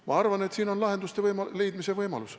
Ma arvan, et selles on lahenduste leidmise võimalus.